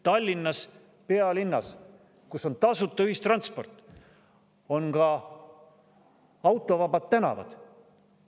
Tallinnas, pealinnas, kus on tasuta ühistransport, on ka autovabad tänavad.